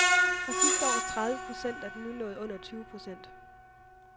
Fra sidste års tredive procent er den nu nået under tyve procent.